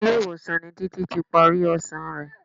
Ilé-ìwọ̀sàn ni Títí ti parí ọsàn rẹ.